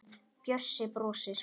Bjössi brosir.